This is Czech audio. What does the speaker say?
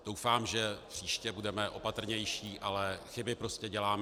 Doufám, že příště budeme opatrnější, ale chyby prostě děláme.